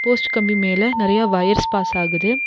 Post கம்பி மேல நெறைய வயர்ஸ் பாஸ் ஆகுது.